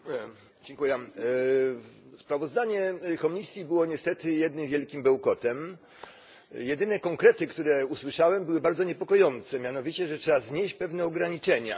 Pani Przewodnicząca! Sprawozdanie Komisji było niestety jednym wielkim bełkotem. Jedyne konkrety, które usłyszałem, były bardzo niepokojące mianowicie, że trzeba znieść pewne ograniczenia.